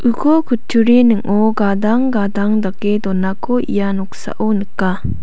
uko kutturi ning·o gadang gadang dake donako ia noksao nika.